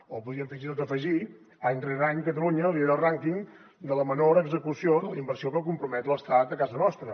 o podríem fins i tot afegir hi any rere any catalunya lidera el rànquing de la menor execució de la inversió que compromet l’estat a casa nostra